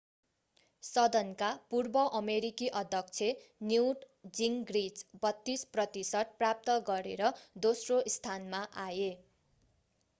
सदनका पूर्व अमेरिकी अध्यक्ष न्युट जिङ्ग्रिच 32 प्रतिशत प्राप्त गरेर दोस्रो स्थानमा आए